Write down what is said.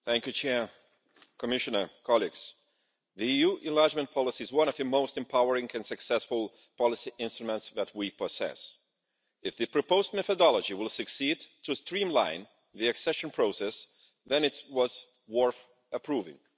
Madam President, the EU enlargement policy is one of the most empowering and successful policy instruments that we possess. If the proposed methodology will succeed to streamline the accession process, then it was worth approving.